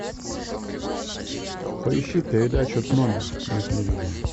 поищи передачу т номер на телевизоре